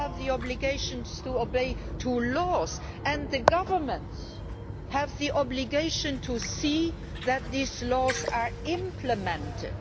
You have the obligation to obey laws, and governments have the obligation to ensure that these laws are implemented.